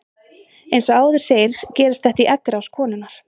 Eins og áður segir gerist þetta í eggrás konunnar.